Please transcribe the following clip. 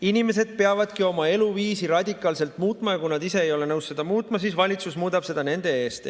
Inimesed peavadki oma eluviisi radikaalselt muutma ja kui nad ise ei ole nõus seda muutma, siis valitsus muudab seda nende eest.